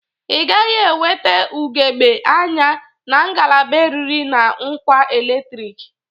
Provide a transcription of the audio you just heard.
Ị gaghị enwete ugebge anya na ngalaba eriri na ngwa eletriki